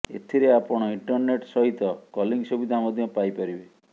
ଏଥିରେ ଆପଣ ଇଣ୍ଟରନେଟ୍ ସହିତ କଲିଂ ସୁବିଧା ମଧ୍ୟ ପାଇପାରିବେ